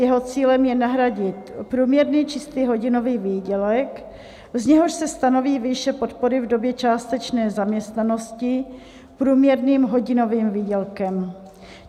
Jeho cílem je nahradit průměrný čistý hodinový výdělek, z něhož se stanoví výše podpory v době částečné zaměstnanosti průměrným hodinovým výdělkem.